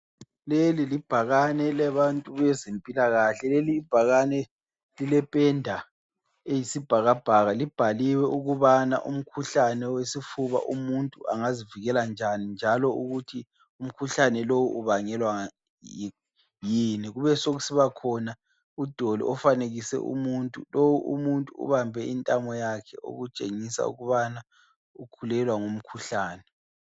Leli libhakane elabantu bezempilakahle. Lelibhakane lilependa eyisibhakabhaka. Libhaliwe ukubana umkhuhlane wesifuba umuntu angazivikela njani, njalo ukuthi umkhuhlane lo ubangelwa yini. Kubesekusiba khona udoli ofanekiswe umuntu. Lo umuntu ubambe intamo yakhe okutshengisa ukubana ukhulelwa ngumkhuhlane.